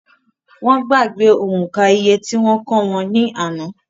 Wọ́n gbàgbé òǹkà iye tí wọ́n kọ́ wọn ní àná